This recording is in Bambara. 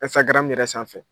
Instagram yɛrɛ sanfɛ